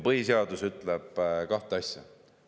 Põhiseadus ütleb kahte asja.